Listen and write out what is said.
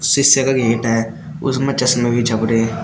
शीशे का गेट है उसमें चश्मे भी छप रहे हैं।